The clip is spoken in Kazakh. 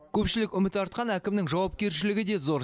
көпшілік үміт артқан әкімнің жауапкершілігі де зор